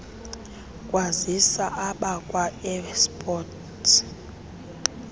kwazisa abakwa airports